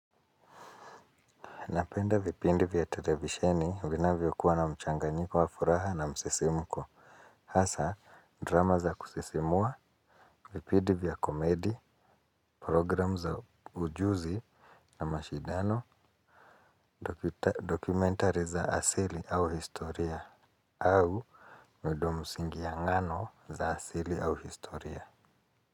Napenda vipindi vya televisheni vinavyokuwa na mchanganyiko wa furaha na msisimko. Hasa, drama za kusisimua, vipindi vya komedi, program za ujuzi na mashindano, dokumentari za asili au historia, au midomsingi angano za asili au historia.